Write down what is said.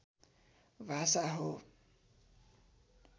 भाषा हो